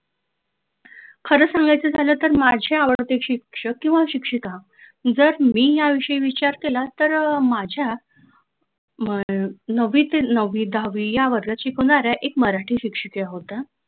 खरं सांगायचं झालं तर माझे आवडते शिक्षक किंवा शिक्षिका जर मी याविषयी विचार केला तर अह हम्म माझ्या नववीतील नववी दहावी या वर्गाची वर्गात शिकवणाऱ्या एक मराठी शिक्षिका होत्या.